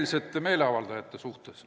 ... rahumeelsete meeleavaldajate suhtes.